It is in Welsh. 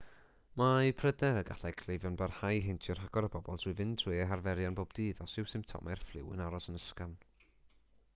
mae pryder y gallai cleifion barhau i heintio rhagor o bobl trwy fynd trwy eu harferion pob dydd os yw symptomau'r ffliw yn aros yn ysgafn